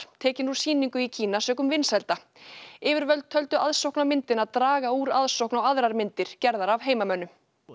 tekin úr sýningu í Kína sökum vinsælda yfirvöld töldu aðsókn á myndina draga úr aðsókn á aðrar myndir gerðar af heimamönnum